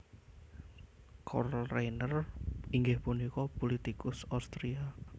Karl Renner inggih punika pulitikus Austria